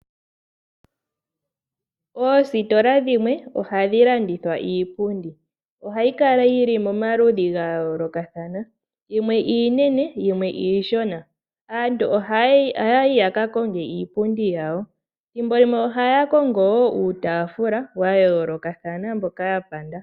Oositola dhimwe ohadhi landithwa iipundi . Ohayi kala yili nomaludhi gayoolokathana . Yimwe iinene, yimwe iishona . Aantu ohaya yi yakakonge iipundi yawo . Ethimbo limwe ohaya kongo uutaafula wayoolokathana mboka yapanda.